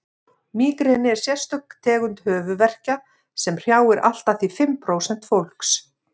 mígreni er sérstök tegund höfuðverkja sem hrjáir allt að því fimm prósent fólks